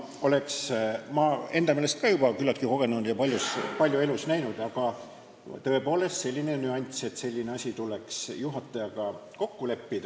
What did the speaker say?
Olen enda meelest ka juba küllaltki kogenud ja palju elus näinud, aga tõepoolest, selline nüanss, et see asi tuleks juhatajaga kokku leppida ...